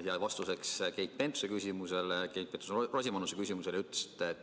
Ja vastuseks Keit Pentus-Rosimannuse küsimusele te ütlesite,